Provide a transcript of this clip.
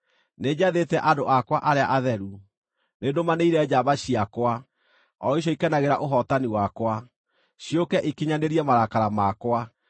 Nĩnjathĩte andũ akwa arĩa atheru, nĩndũmanĩire njamba ciakwa, o icio ikenagĩra ũhootani wakwa, ciũke ikinyanĩrie marakara makwa.